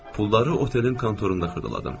Pulları otelin kontorunda xırdaladım.